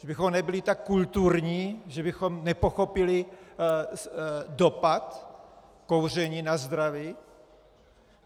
Že bychom nebyli tak kulturní, že bychom nepochopili dopad kouření na zdraví?